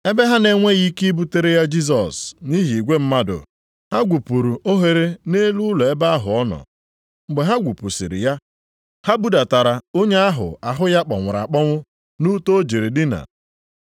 Ebe ha na-enweghị ike ibutere ya Jisọs nʼihi igwe mmadụ, ha gwupuru oghere nʼelu ụlọ ebe ahụ ọ nọ. Mgbe ha gwupusiri ya, ha budatara onye ahụ ahụ ya kpọnwụrụ akpọnwụ nʼute o jiri dina.